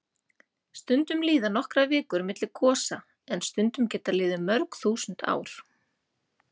Stundum líða nokkrar vikur milli gosa en stundum geta liðið mörg þúsund ár.